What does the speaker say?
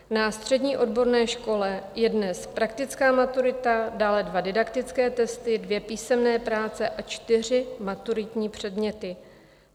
Na střední odborné škole je dnes praktická maturita, dále dva didaktické testy, dvě písemné práce a čtyři maturitní předměty.